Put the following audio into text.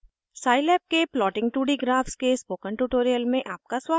Scilab के plotting 2d graphs के spoken tutorial में आपका स्वागत है